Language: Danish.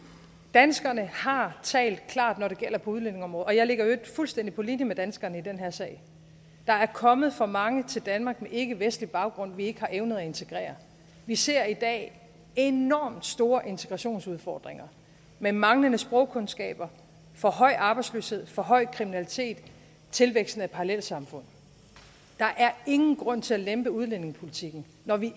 danskerne har talt klart når det gælder udlændingeområdet og jeg ligger i øvrigt fuldstændig på linje med danskerne i den her sag der er kommet for mange til danmark med ikkevestlig baggrund vi ikke har evnet at integrere vi ser i dag enormt store integrationsudfordringer med manglende sprogkundskaber for høj arbejdsløshed for høj kriminalitet og tilvækst af parallelsamfund der er ingen grund til at lempe udlændingepolitikken når vi